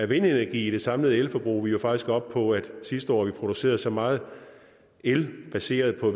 vindenergi i det samlede elforbrug vi var faktisk oppe på sidste år at vi producerede så meget el baseret på